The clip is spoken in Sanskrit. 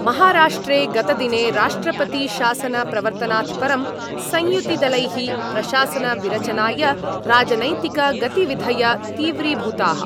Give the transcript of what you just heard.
महाराष्ट्रे गतदिने राष्ट्रपतिशासनप्रवर्तनात् परं संयुतिदलैः प्रशासनविरचनाय राजनैतिकगतिविधय तीव्रीभूताः।